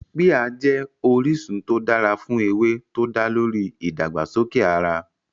Píà jẹ́ orísun tó dára fún ewé tó dá lórí ìdàgbàsókè ara